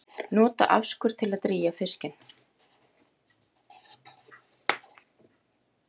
Nota afskurð til að drýgja fiskinn